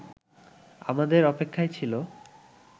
আমাদের অপেক্ষায় ছিল